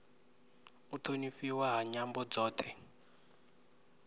u thonifhiwa ha nyambo dzothe